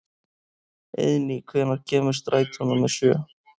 Eiðný, hvenær kemur strætó númer sjö?